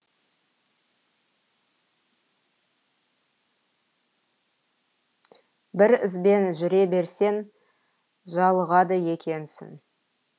бір ізбен жүре берсең жалығады екенсің